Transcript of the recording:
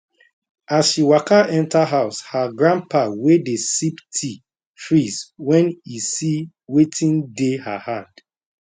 as she waka enter house her grandpa wey dey sip tea freeze wen e see wetin dey her hand